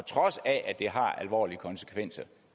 trods af at det har alvorlige konsekvenser